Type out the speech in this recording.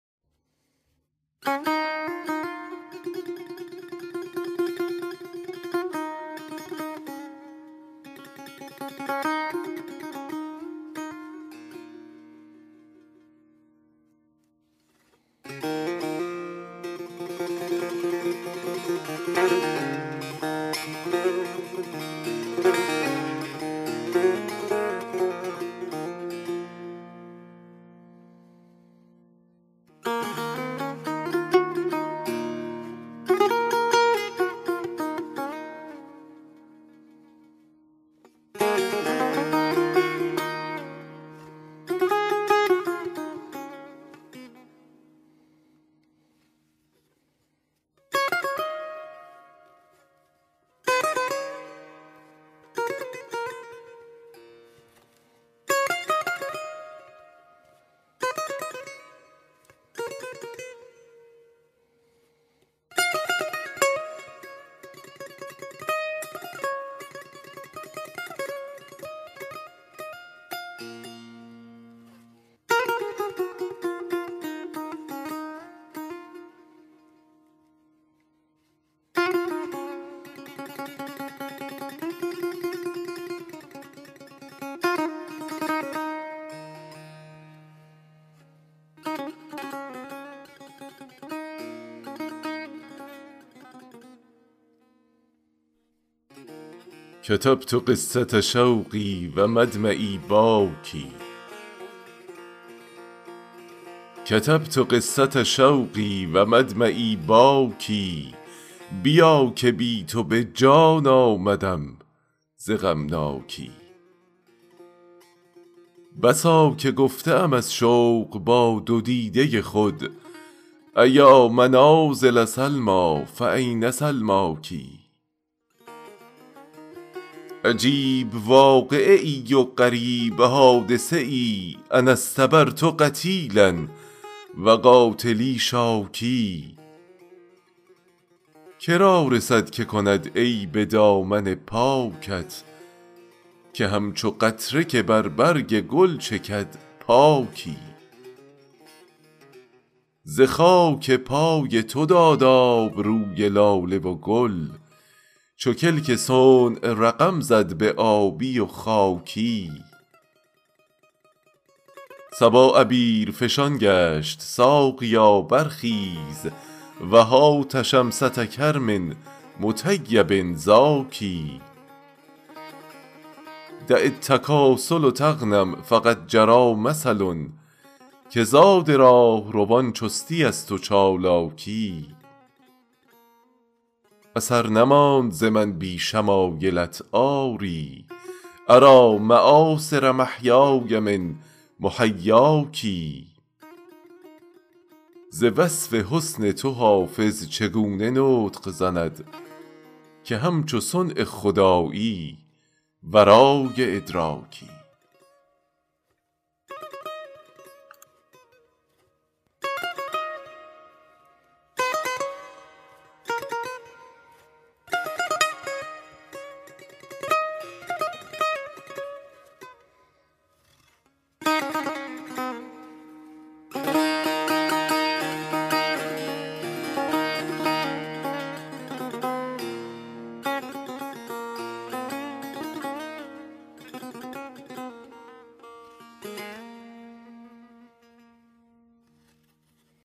کتبت قصة شوقی و مدمعی باکی بیا که بی تو به جان آمدم ز غمناکی بسا که گفته ام از شوق با دو دیده خود أیا منازل سلمیٰ فأین سلماک عجیب واقعه ای و غریب حادثه ای أنا اصطبرت قتیلا و قاتلی شاکی که را رسد که کند عیب دامن پاکت که همچو قطره که بر برگ گل چکد پاکی ز خاک پای تو داد آب روی لاله و گل چو کلک صنع رقم زد به آبی و خاکی صبا عبیرفشان گشت ساقیا برخیز و هات شمسة کرم مطیب زاکی دع التکاسل تغنم فقد جری مثل که زاد راهروان چستی است و چالاکی اثر نماند ز من بی شمایلت آری أری مآثر محیای من محیاک ز وصف حسن تو حافظ چگونه نطق زند که همچو صنع خدایی ورای ادراکی